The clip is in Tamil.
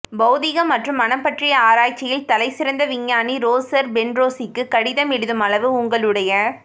பௌதிகம் மற்றும் மனம் பற்றிய ஆராய்ச்சியில் தலை சிறந்த விஞ்ஞானி ரோசெர் பென்றோசிக்கு கடிதம் எழுதும் அளவு உங்களுடைய